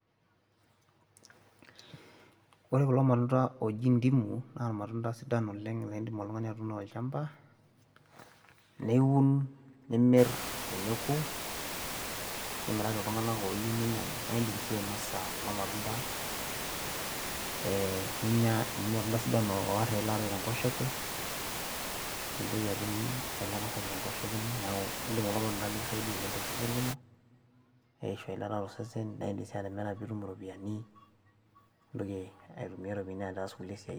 ore kulo matunda ooji ntimu naa ilmatunda sidan oleng naa idim oltungani atuuno tolchampa, niun nimir teneku. nimiraki iltunganak ooyieu ninyiang'u. naa idim sii ainosa kulo matunda.ee ninyia amu ilmatunda sidan oor ilata tenkoshoke, mintoki atum eilata sapuk tenkoshoke ino, neeku idim kulo matunda nikisaidia oleng tenkoshoke ino. eishu eilata tosesen, naa idim sii atimira nitum iropiyiani. nintoki aitumia iropiyiani aas kulie siaitin.